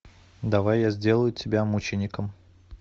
давай я сделаю тебя мучеником